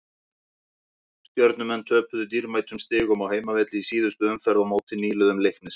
Stjörnumenn töpuðu dýrmætum stigum á heimavelli í síðustu umferð á móti nýliðum Leiknis.